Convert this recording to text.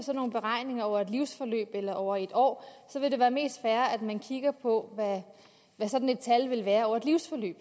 nogle beregninger over et livsforløb eller over et år vil det være mest fair at man kigger på hvad sådan et tal vil være over et livsforløb